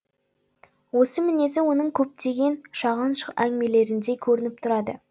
осы мінезі оның көптеген шағын әңгімелерінде көрініп тұрады